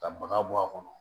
Ka baga bɔ a kɔnɔ